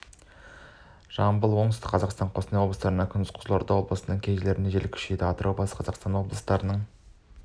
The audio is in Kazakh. жамбыл оңтүстік қазақстан қостанай облыстарында күндіз қызылорда облысының кей жерлерінде жел күшейеді атырау батыс қазақстан облыстарының